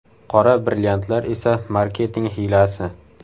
Qora brilliantlar esa marketing hiylasi.